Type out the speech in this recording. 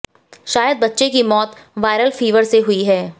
शायद बच्चे की मौत वायरल फीवर से हुई है